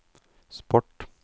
sport